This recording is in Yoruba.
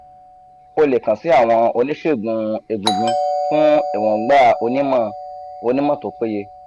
o le kan si awon onisegun egungun fun eroungba onimo onimo to peye